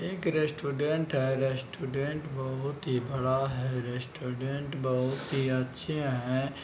एक रेस्टोरेंट है रेस्टोरेंट बहुत ही बड़ा है रेस्टोरेंट बहुत ही अच्छे है।